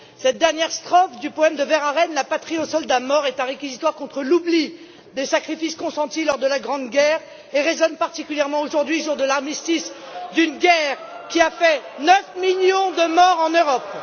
Cette dernière strophe du poème de Verhaeren La Patrie aux soldats morts est un réquisitoire contre l'oubli des sacrifices consentis lors de la Grande Guerre, et résonne particulièrement aujourd'hui, jour de l'armistice, d'une guerre qui a fait 9 millions de morts en Europe.